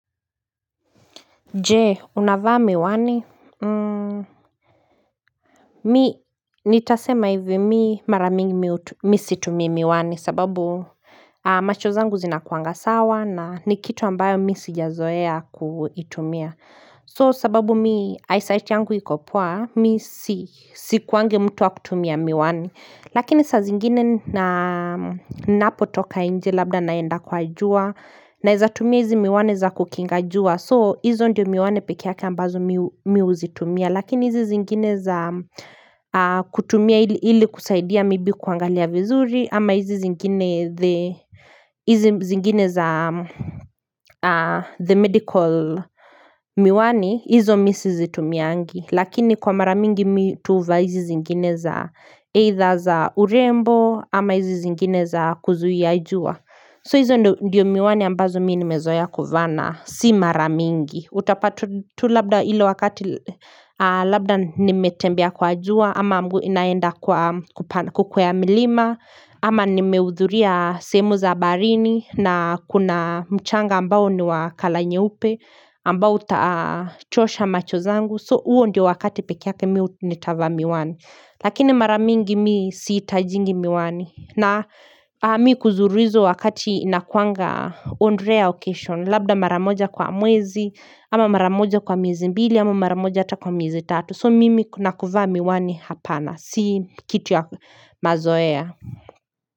Jee unavaa miwani Mi nitasema hivi mi maramingi mi situmii miwani sababu macho zangu zina kuanga sawa na ni kitu ambayo mi sijazoea kuitumia So sababu mi eyesight yangu ikopoa mi sikuangi mtu wa kutumia miwani Lakini sa zingine na napotoka inje labda naenda kwa jua naezatumia hizi miwani za kukinga jua so hizo ndio miwani pekeyake ambazo mi uzitumia lakini hizi zingine za kutumia ili kusaidia maybe kuangalia vizuri ama hizi zingine the medical miwani hizo mi sizitumiangi. Lakini kwa maramingi mi tu huvaa hizi zingine za either za urembo ama hizi zingine za kuzuia jua So hizi ndio miwani ambazo mi nimezoeya kuvaa na Si maramingi Utapata tu labda ilo wakati labda nimetembea kwa jua ama mgu naenda kukwea milima ama nimeudhuria sehemu za baarini na kuna mchanga ambao ni wa color nyeupe ambao utachosha macho zangu So huo ndio wakati peke yake mi u nitavaa miwani Lakini maramingi mii siitajingi miwani na mii kuzuru hizo wakati inakuanga on rare occasion Labda maramoja kwa mwezi ama maramoja kwa mwezi mbili ama maramoja hata kwa mwezi tatu So mimi kuna kuvaa miwani hapana Si kitu ya mazoea.